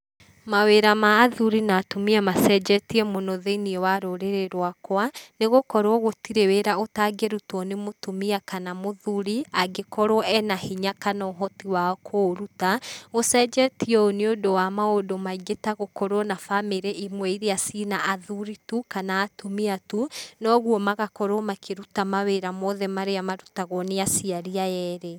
Mawĩra ma athuri na atumia macenjetie mũno thĩiniĩ wa rũrrĩrĩ rwakwa, nĩ gũkorwo gũtirĩ wira utangĩrutwo nĩ mũtumia kana mũthuri, angĩkorwo ena hinya kana ũhoti wa kũũruta, gũcenjetio ũũ nĩ ũndũ wa maũndũ maingĩ ta gũkorwo na bamĩrĩ imwe iria ciĩ na athuri tu ,kana atumia tu, na ũguo magakorwo makĩruta mawĩra mothe marĩa makoragwo makĩrutuo ni aciari aya eeerĩ.